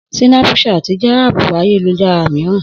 Sínápú ṣáàtì jẹ́ háàpù ayélujára mìíràn